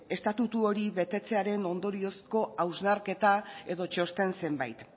estatutu hori betetzearen ondoriozko hausnarketa edo txosten zenbait